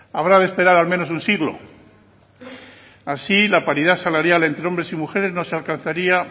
habrá que esperar al menos un siglo así la paridad salarial entre hombres y mujeres no se alcanzaría